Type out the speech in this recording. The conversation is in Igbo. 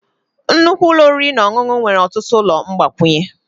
Nnukwu ụlọ oriri na ọṅụṅụ nwere ọtụtụ ụlọ mgbakwunye.